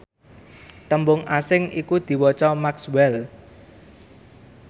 tembung asing iku diwaca maxwell